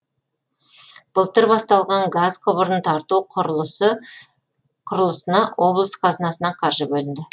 былтыр басталған газ құбырын тарту құрылысына облыс қазынасынан қаржы бөлінді